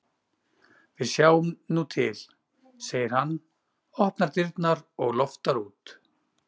Við sjáum nú til, segir hann, opnar dyrnar og loftar út.